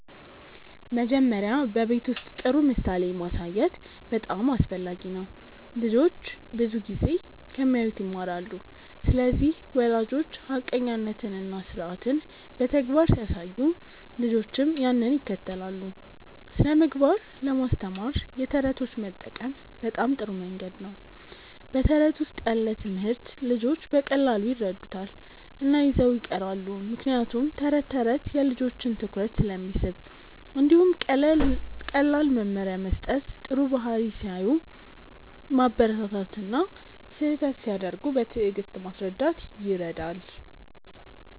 መጀመሪያ በቤት ውስጥ ጥሩ ምሳሌ ማሳየት በጣም አስፈላጊ ነው። ልጆች ብዙ ጊዜ ከሚያዩት ይማራሉ ስለዚህ ወላጆች ሐቀኛነትን እና ስርዓትን በተግባር ሲያሳዩ ልጆችም ያንን ይከተላሉ። ስነ ምግባር ለማስተማር የተረቶች መጠቀም በጣም ጥሩ መንገድ ነው በተረት ውስጥ ያለ ትምህርት ልጆች በቀላሉ ይረዱታል እና ይዘው ይቀራሉ ምክንያቱም ተረት ተረት የልጆችን ትኩረት ስለሚስብ። እንዲሁም ቀላል መመሪያ መስጠት ጥሩ ባህሪ ሲያሳዩ ማበረታታት እና ስህተት ሲያደርጉ በትዕግስት ማስረዳት ይረዳል።